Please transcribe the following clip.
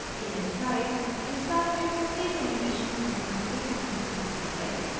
यह slide विस्तार में प्रत्येक animation command के function दिखाती है